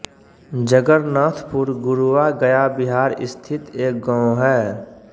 जगर्नाथपुर गुरुआ गया बिहार स्थित एक गाँव है